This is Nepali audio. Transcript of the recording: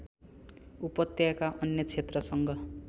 उपत्यका अन्य क्षेत्रसँग